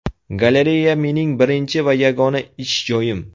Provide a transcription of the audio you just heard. Galereya mening birinchi va yagona ish joyim.